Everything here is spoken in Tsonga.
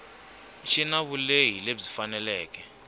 xi na vulehi lebyi faneleke